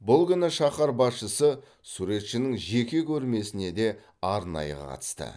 бұл күні шаһар басшысы суретшінің жеке көрмесіне де арнайы қатысты